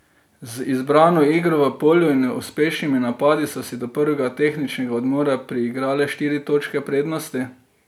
Z zbrano igro v polju in uspešnimi napadi so si do prvega tehničnega odmora priigrale štiri točke prednosti.